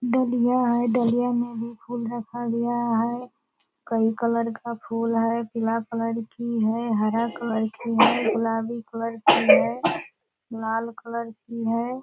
डलिया है डलिया मे भी फूल रखा गया है कई कलर का फूल है पीला कलर की हैहरा कलर की है गुलाबी कलर की है लाल कलर की है ।